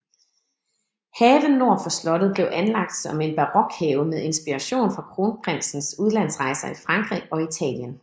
Haven nord for slottet blev anlagt som en barokhave med inspiration fra kronprinsens udlandsrejser i Frankrig og Italien